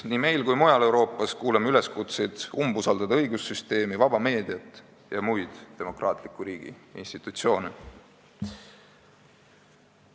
Nii meil kui mujal Euroopas kuuleme üleskutseid umbusaldada õigussüsteemi, vaba meediat ja muid demokraatliku riigi institutsioone.